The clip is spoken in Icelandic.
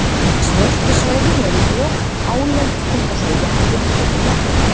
svörtu svæðin eru of hálend til þess að jeppinn geti lent þar